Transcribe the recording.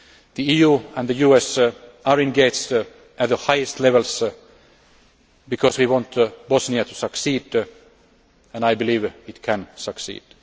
agreement. The EU and the US are engaged at the highest levels because we want Bosnia to succeed, and I believe it can